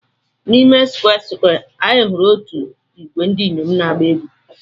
N'ime Square Square, anyị hụrụ otu ìgwè ndị inyom na-agba egwú.